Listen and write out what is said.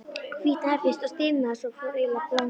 Hvítnaði fyrst, og stirðnaði, fór svo eiginlega að blána.